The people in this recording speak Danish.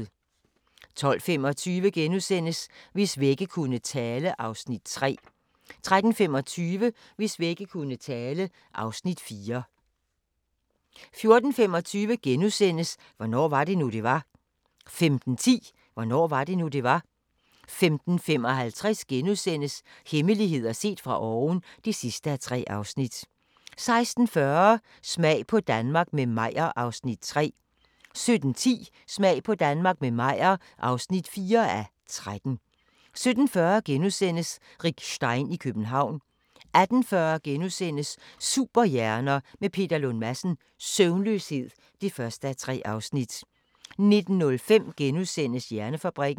12:25: Hvis vægge kunne tale (Afs. 3)* 13:25: Hvis vægge kunne tale (Afs. 4) 14:25: Hvornår var det nu, det var? * 15:10: Hvornår var det nu, det var? 15:55: Hemmeligheder set fra oven (3:3)* 16:40: Smag på Danmark – med Meyer (3:13) 17:10: Smag på Danmark – med Meyer (4:13) 17:40: Rick Stein i København * 18:40: Superhjerner – med Peter Lund Madsen: Søvnløshed (1:3)* 19:05: Hjernefabrikken *